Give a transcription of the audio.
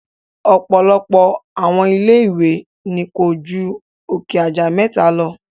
Ọ̀pọ̀lọpọ̀ àwọn ilé ìwé ni ko ju òkè aja mẹta lọ.